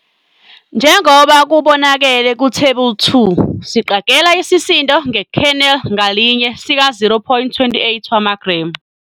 Njengoba kubonakele kuThebula 2 siqagela isisindo nge-kernel ngalinye sika-0,28 wamagremu.